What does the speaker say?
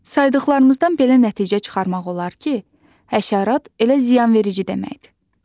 Saydıqlarımızdan belə nəticə çıxarmaq olar ki, həşərat elə ziyanverici deməkdir.